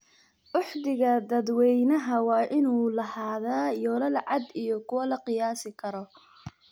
Uhdhigga dadweynaha waa in uu lahaadaa yoolal cad iyo kuwo la qiyaasi karo.